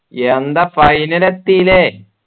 എന്താ final എത്തില്ലേ